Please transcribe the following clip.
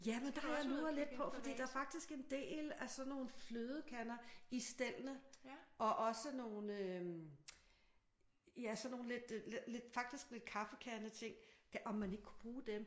Jamen der har jeg luret lidt på fordi der er faktisk en del af sådan nogle flødekander i stellene og også nogle øh ja sådan nogle lidt lidt faktisk lidt kaffekandeting. Om man ikke kunne bruge dem?